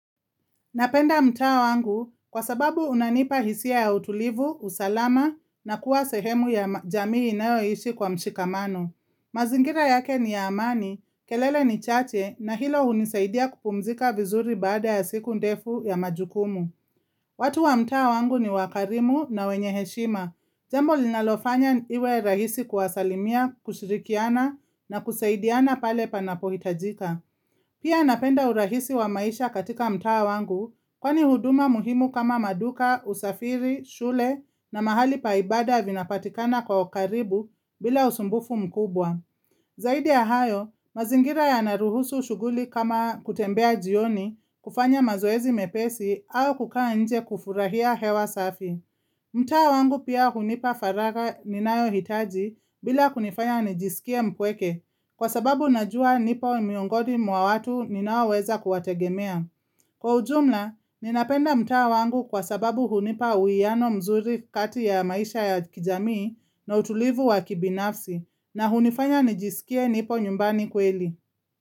Napenda mtaa wangu kwa sababu unanipa hisia ya utulivu, usalama na kuwa sehemu ya jamii inayoishi kwa mshikamano. Mazingira yake ni ya amani, kelele ni chache na hilo hunisaidia kupumzika vizuri baada ya siku ndefu ya majukumu. Watu wa mtaa wangu ni wakarimu na wenye heshima. Jambo linalofanya iwe rahisi kuwasalimia, kushirikiana na kusaidiana pale panapohitajika. Pia napenda urahisi wa maisha katika mtaa wangu kwani huduma muhimu kama maduka, usafiri, shule na mahali pa ibada vinapatikana kwa ukaribu bila usumbufu mkubwa. Zaidi ya hayo, mazingira yanaruhusu shughuli kama kutembea jioni, kufanya mazoezi mepesi au kukaa nje kufurahia hewa safi. Mtaa wangu pia hunipa faraga ninayo hitaji bila kunifanya nijisikia mpweke kwa sababu najua nipo miongoni mwa watu ninaoweza kuwategemea. Kwa ujumla, ninapenda mtaa wangu kwa sababu hunipa uwiano mzuri kati ya maisha ya kijamii na utulivu wa kibinafsi na hunifanya nijisikie nipo nyumbani kweli.